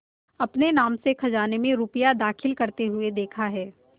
अपने नाम से खजाने में रुपया दाखिल करते देखा है